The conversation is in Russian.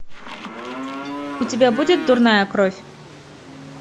у тебя будет дурная кровь